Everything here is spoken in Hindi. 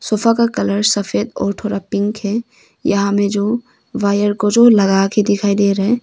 सोफा का कलर सफेद और थोड़ा पिंक है यहां में जो वायर को जो लगाके दिखाई दे रहा है।